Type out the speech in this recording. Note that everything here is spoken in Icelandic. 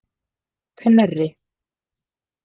Knerri